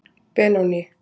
Benóný